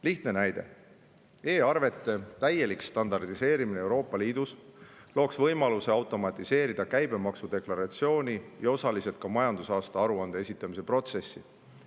Lihtne näide: e‑arvete täielik standardiseerimine Euroopa Liidus looks võimaluse automatiseerida käibemaksu deklaratsiooni ja osaliselt ka majandusaasta aruande esitamise protsessi.